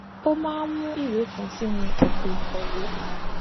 ó máa ń mú ìwé kan sínú àpòìkówèé